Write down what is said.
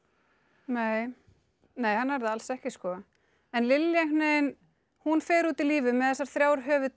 nei nei hann er það alls ekki en Lilja fer út í lífið með þessar þrjár